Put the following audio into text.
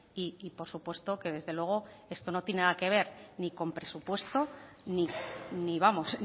y por supuesto que desde luego esto no tiene nada que ver ni con presupuesto ni vamos